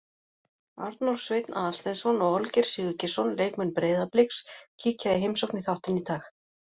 Arnór Sveinn Aðalsteinsson og Olgeir Sigurgeirsson, leikmenn Breiðabliks, kíkja í heimsókn í þáttinn í dag.